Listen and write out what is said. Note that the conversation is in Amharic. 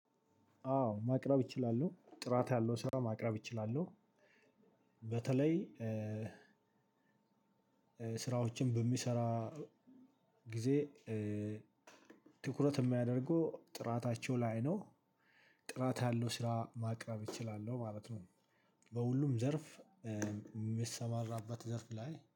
አዎ ማቅረብ እችላለው ጥራት ያለው ስራ ማቅረብ እችላለው። በተለይ ስራዎችን በምሰራ ጊዜ ትኩረት የማደርገው ጥራታቸው ላይ ነው። ጥራት ያለው ስራ ማቅረብ እችላለሁ ማለት ነው። በሁሉም ዘርፍ የምትሰማራበት ዘርፍ ላይ